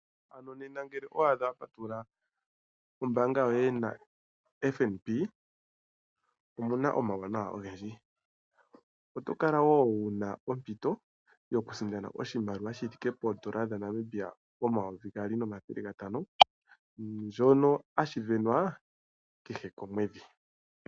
Ano nena ngele owa adha wa patulula ombaanga yoye naFNB omu na omauwanawa ogendji. Oto kala wo wu na ompito yokusindana oshimaliwa shaNamibia omayovi omathele gaali nomathele gatano. Shono hashi sindanwa kehe komwedhi.